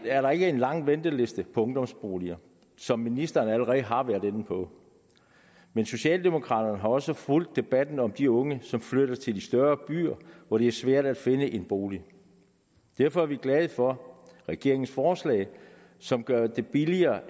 er der ikke en lang venteliste på ungdomsboliger som ministeren allerede har været inde på men socialdemokraterne har også fulgt debatten om de unge som flytter til de større byer hvor det er svært at finde en bolig derfor er vi glade for regeringens forslag som gør det billigere